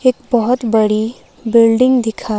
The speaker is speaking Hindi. एक बहुत बड़ी बिल्डिंग दिखा --